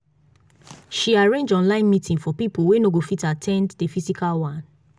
she arrange online meeting for people wey no go fit at ten d the physical one